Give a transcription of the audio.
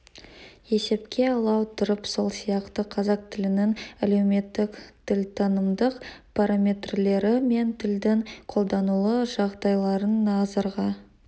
есепке ала отырып сол сияқты қазақ тілінің әлеуметтік тілтанымдық параметрлері мен тілдің қолданылу жағдайларын назарға